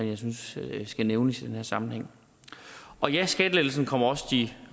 jeg synes skal nævnes i den her sammenhæng og ja skattelettelsen kommer også de